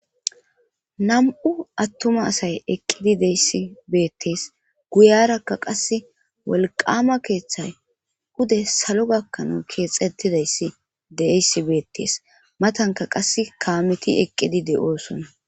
Nam'u attuma asay eqqidi deyssi beettees guyarakka qasse wolqama keeththay ude salo gakkana keexetidayssi deysi beettees matanka qass kaameti eqqidi de'oosonna.